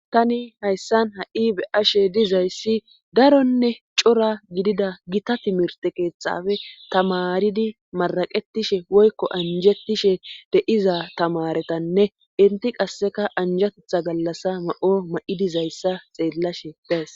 tani hayssan ha7i be ashe dizayssi daronne cora gidida gita timirte keeththafe tamaridi maraqetishe woykko anjettishe deiza tamaretanne inti qasseka anjatetha gallassa ma7o ma7i dizayssa xeellashe bees